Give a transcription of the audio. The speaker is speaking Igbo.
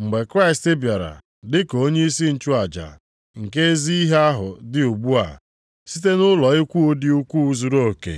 Mgbe Kraịst bịara dị ka onyeisi nchụaja nke ezi ihe ahụ dị ugbu a, site nʼụlọ ikwu dị ukwuu zuruoke